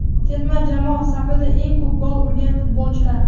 Terma jamoa safida eng ko‘p gol urgan futbolchilar.